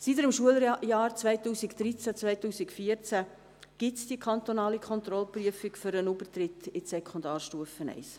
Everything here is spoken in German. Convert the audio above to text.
Seit dem Schuljahr 2013/14 gibt es die kantonale Kontrollprüfung für den Übertritt in die Sekundarstufe I.